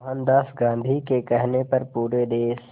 मोहनदास गांधी के कहने पर पूरे देश